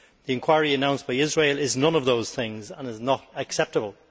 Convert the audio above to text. The inquiry announced by Israel is none of those things and is not acceptable.